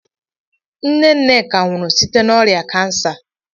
Nne Nneka nwụrụ site na ọrịa kansa